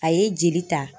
A ye jeli ta